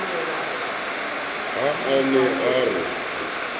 ha a ne a re